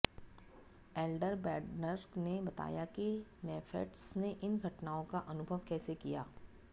Elder Bednar ने बताया कि नेफेट्स ने इन घटनाओं का अनुभव कैसे किया